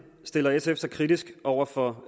stiller sf sig kritisk over for